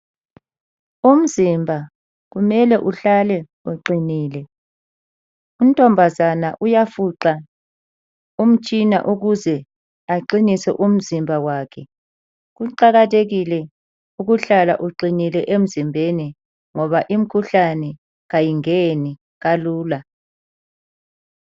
Umzimba kumele uhlale uqinile, untombazana uyafuqa umtshina ukuze aqinise umzimba wakhe. Kuqakathekile ukuhlala uqinile emzimbeni ngoba imkhuhlane kayingeni kalula.